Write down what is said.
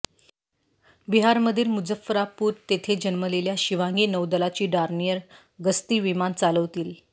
बिहारमधील मुझफ्फरापूर तेथे जन्मलेल्या शिवांगी नौदलाची डॉर्नियर गस्ती विमान चालवतील